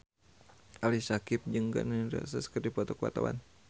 Ali Syakieb jeung Gun N Roses keur dipoto ku wartawan